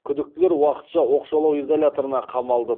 күдіктілер уақытша оқшаулау изоляторына қамалды